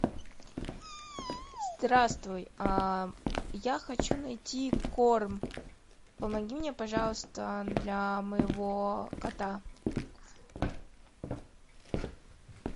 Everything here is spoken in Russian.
здравствуй я хочу найти корм помоги мне пожалуйста для моего кота